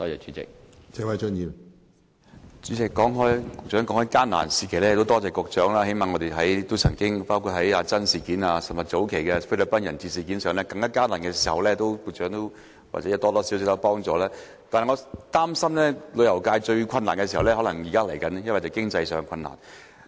主席，局長說到艱難時期，其實很多謝局長，我們曾經歷過"阿珍事件"，以及早幾年的菲律賓人質事件，在這些艱難時期，局長或多或少都有幫忙，但我擔心現在才是旅遊界最困難時候，這是屬於經濟上的困難。